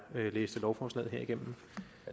læste lovforslaget her igennem